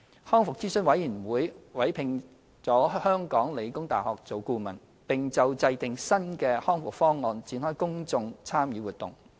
康復諮詢委員會委聘了香港理工大學為顧問，並就制訂新的《康復方案》展開公眾參與活動。